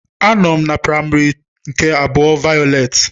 Anọm na práịmary nke abụa vayọleti